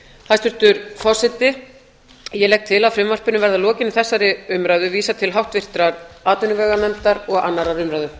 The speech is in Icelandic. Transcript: hæstvirtur forseti ég legg til að frumvarpinu verði að lokinni þessari umræðu vísað til háttvirtrar atvinnuveganefndar og annarrar umræðu